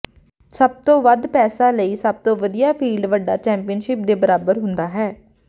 ਸਭ ਤੋਂ ਵੱਧ ਪੈਸਾ ਲਈ ਸਭ ਤੋਂ ਵਧੀਆ ਫੀਲਡ ਵੱਡਾ ਚੈਂਪੀਅਨਸ਼ਿਪ ਦੇ ਬਰਾਬਰ ਹੁੰਦਾ ਹੈ